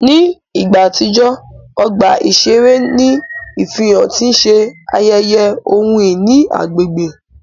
Ní ìgbà àtijọ́, ọgbà iṣere ní ìfihàn ti n ṣe ayeye ohun-ìní agbègbè.